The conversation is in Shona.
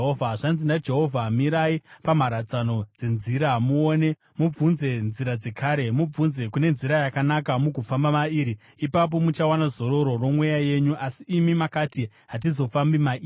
Zvanzi naJehovha: “Mirai pamharadzano dzenzira muone; mubvunze nzira dzekare, mubvunze kune nzira yakanaka, mugofamba mairi, ipapo muchawana zororo remweya yenyu. Asi imi makati, ‘Hatizofambi mairi.’